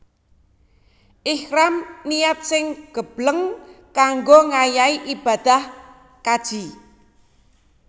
Ihram niat sing gebleng kanggo ngayahi ibadah kaji